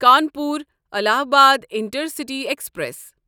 Kanpur Allahabad intercity express